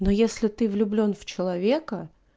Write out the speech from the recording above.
ну если ты влюблён в человека